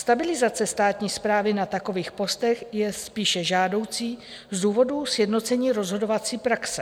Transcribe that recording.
Stabilizace státní správy na takových postech je spíše žádoucí z důvodů sjednocení rozhodovací praxe.